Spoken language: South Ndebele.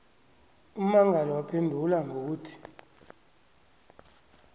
ummangali waphendula ngokuthi